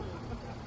Maşın qaçdı.